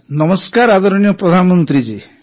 ନମସ୍କାର ଆଦରଣୀୟ ପ୍ରଧାନମନ୍ତ୍ରୀ ଜୀ